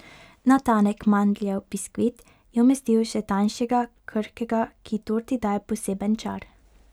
Na tanek mandljev biskvit je umestil še tanjšega, krhkega, ki torti daje poseben čar.